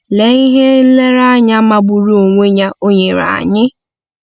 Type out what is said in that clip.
Lee ihe nlereanya magburu onwe ya o nyere anyị!